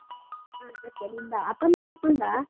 ಹಾ ಸತ್ಯ ನಿನ್ ಬಾ, ಅಪ್ಪ ಅಮ್ಮನ್ನ ಕರ್ಕೊಂಡು ಬಾ.